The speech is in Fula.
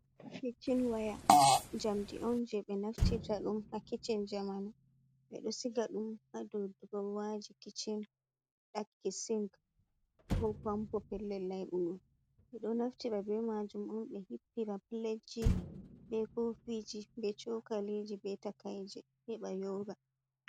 Kicin waya jaamdi on je ɓe naftirta ɗum ha kicin jamanu. Ɓe ɗo siga ɗum ha dow durowaji kicin, ɗaki sin ko pampo pellel laibugo. Ɓe ɗo naftira be majum on ɓe hippira piletji, be ko fiji, be chokaliji, be takai je, he ɓa yora.